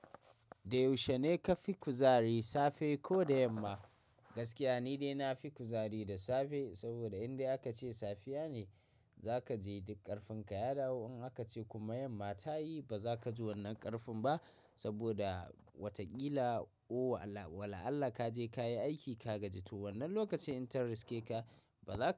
Da yaushe ne ka fi kuzari safe ko da yamma? Gaskiya ni dai na fi kuzari da safe saboda in dai aka ce safiya ne za ka ji duk ƙarfin ka ya dawo. In aka ce kuma yamma ta yi ba za ka ji wannan ƙarfin ba saboda wataƙila o wala Allah ka je ka yi aiki ka gaji to wannan lokacin in ta riske ka ba za ka.